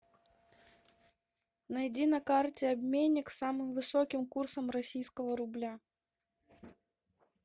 найди на карте обменник с самым высоким курсом российского рубля